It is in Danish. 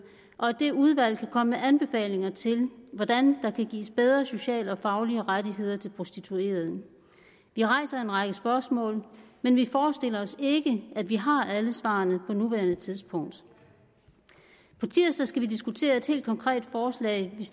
og at det udvalg kan komme med anbefalinger til hvordan der kan gives bedre sociale og faglige rettigheder til prostituerede vi rejser en række spørgsmål men vi forestiller os ikke at vi har alle svarene på nuværende tidspunkt på tirsdag skal vi diskutere et helt konkret forslag